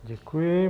Děkuji.